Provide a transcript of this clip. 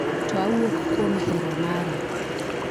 to awuok kuom hero mara